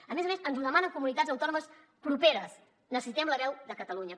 a més a més ens ho demanen comunitats autònomes properes necessitem la veu de catalunya